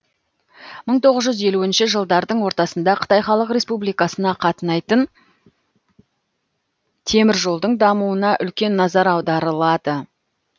мың тоғыз жүз елуінші жылдардың ортасында қытай халық республикасына қатынайтын теміржолдың дамуына үлкен назар аударылады